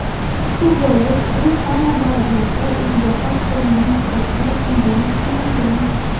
shu bois u hamma davrlarda o‘ziga xos qo‘llanma sifatida o‘rganib kelingan.